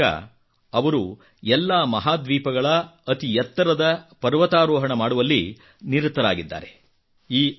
ಇದರ ಮೂಲಕ ಅವರು ಎಲ್ಲಾ ಮಹಾದ್ವೀಪಗಳ ಅತಿ ಎತ್ತರದ ಪರ್ವತಾರೋಹಣ ಮಾಡುವಲ್ಲಿ ನಿರತರಾಗಿದ್ದಾರೆ